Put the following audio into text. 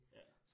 Ja